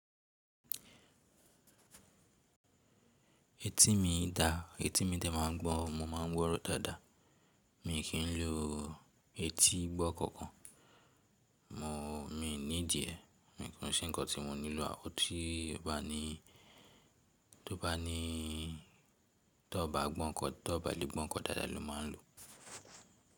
Etí mi dà, etí mi tẹ̀ máa ń gbọ́, mo ma ń gbọ́rọ̀ dáadáa. Mi kì n lo etí gbọ́ ǹkan kan. Mo, mi ní díẹ̀ kò ṣe ǹkan tí mo nílò, àwọn tó báà lè gbọ́ ǹkan dáadáa ni wọ́n máa lò.